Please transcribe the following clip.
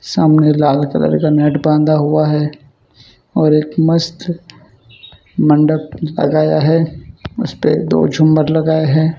सामने लाल कलर का नेट बांध हुआ है और एक मस्त मंडप लगाया है उस पे दो झूमर लगाए है।